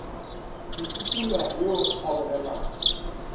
ke tukula yo a bolelago